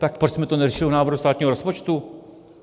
Tak proč jsme to neřešili u návrhu státního rozpočtu?